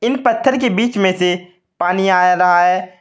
इन पत्थर के बीच में से पानी आ रहा है।